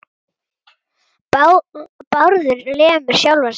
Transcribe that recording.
Bárður lemur sjálfan sig.